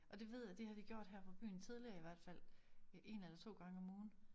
Og det ved jeg det har de gjort her fra byen tidligere i hvert fald én eller 2 gange om ugen